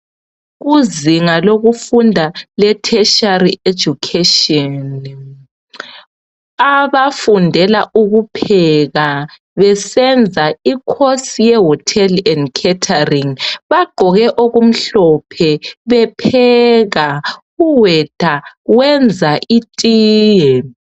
Kuzinga lokufunda le tertiary education abafundela ukupheka besenza ikhosi yeHotel and Catering bagqoke okumhlophe bepheka. Uweta wenza itiye.